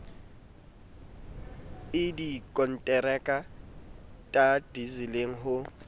i dikonteraka ta disiling ho